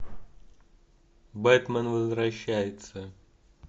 бэтмен возвращается